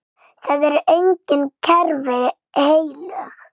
Það eru engin kerfi heilög.